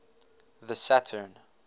the saturn